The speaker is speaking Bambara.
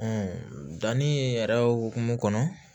danni yɛrɛ hokumu kɔnɔ